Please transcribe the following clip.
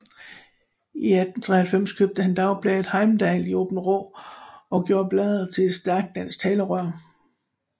I 1893 købte han dagbladet Heimdal i Aabenraa og gjorde bladet til et stærkt dansk talerør